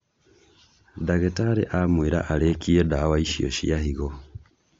Ndagitarĩ amwĩra arĩkie ndawa icio cia higo